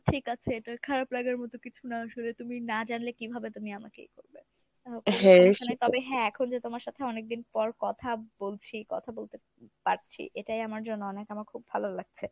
ঠিক আছে এটা খারাপ লাগার মত কিছু না আসলে তুমি না জানলে কিভাবে তুমি আমাকে ই করবে? তবে হ্যাঁ এখন যে তোমার সাথে অনেকদিন পর কথা বলছি কথা বলতে পারছি এটাই আমার জন্য অনেক আমার খুব ভালো লাগছে।